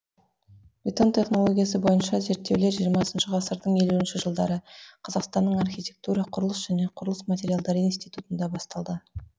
бетон технологиясы бойынша зерттеулер жиырмасыншы ғасырдың елуінші жылдары қазақстанның архитектура құрылыс және құрылыс материалдары институтында басталды